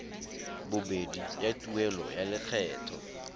bobedi ya tuelo ya lokgetho